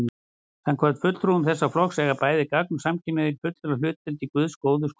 Samkvæmt fulltrúum þessa flokks eiga bæði gagn- og samkynhneigðir fulla hlutdeild í Guðs góðu sköpun.